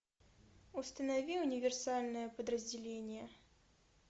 установи универсальное подразделение